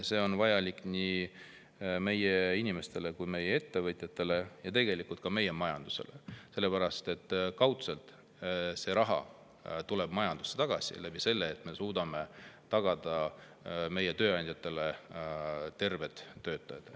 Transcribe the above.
See on vajalik nii meie inimestele kui ka ettevõtjatele ja tegelikult ka majandusele, sellepärast et kaudselt tuleb see raha majandusse tagasi, kui me suudame tagada tööandjatele terved töötajad.